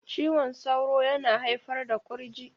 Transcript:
Cizon sauro yana haifar da kurji